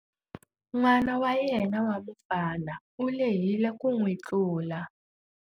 N'wana wa yena wa mufana u lehile ku n'wi tlula.